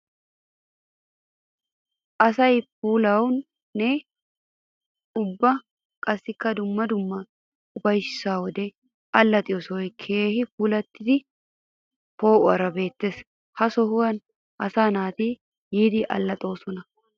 Asay puulawunne ubba qassikka dumma dumma ufayssa wode alaxxiyo sohoy keehippe puulatiddi poo'uwaara beetes. Ha sohuwan asaa naati yiidi alaxxosonna.